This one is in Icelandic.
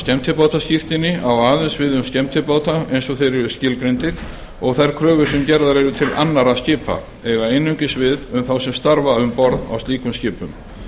skemmtibátaskírteini á aðeins við um skemmtibáta eins og þeir eru skilgreindir og þær kröfur sem gerðar eru til annarra skipa eiga einungis við um þá sem starfa um borð á slíkum skipum